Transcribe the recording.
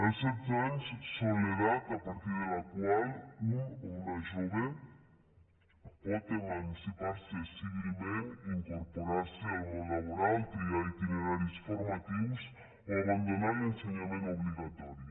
els setze anys és l’edat a partir de la qual un o una jove pot emancipar se civilment incorporar se al món laboral triar itineraris formatius o abandonar l’ensenyament obligatori